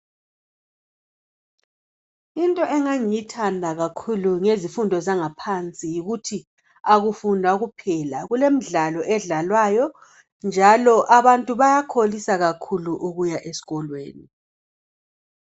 Into engangiyithanda kakhulu ngezifundo zangaphansi yikuthi akufundwa kuphela kulemidlalo edlalwayo njalo abantu bayakholisa kakhulu ukuya esikolweni